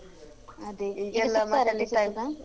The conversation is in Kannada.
ಅದೇ